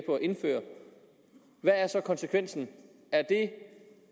indføre hvad er så konsekvensen er det